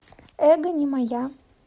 эго не моя